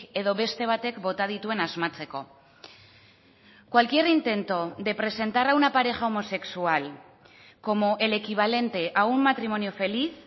edo beste batek bota dituen asmatzeko cualquier intento de presentar a una pareja homosexual como el equivalente a un matrimonio feliz